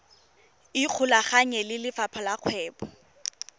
ikgolaganye le lefapha la kgwebo